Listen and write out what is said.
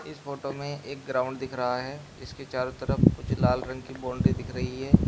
इस फोटो में एक ग्राउंड दिख रहा है इसके चारों तरफ कुछ लाल रंग की बाउंड्री दिख रही है।